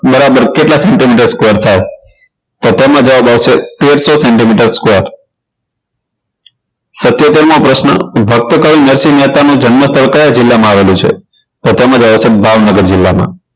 બરાબર કેટલા centimeter square થાય તો તેમાં જવાબ આવશે તેરસો centimeter square સિતોતેર મો પ્રશ્ન ભક્ત કવિ નરસિંહ મહેતા નો જન્મસ્થળ કયા જિલ્લામાં આવેલું છે તો તેમાં આવશે ભાવનગર જિલ્લામાં